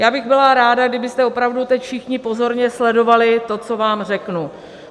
Já bych byla ráda, kdybyste opravdu teď všichni pozorně sledovali to, co vám řeknu.